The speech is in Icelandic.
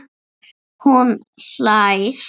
Hún hlær.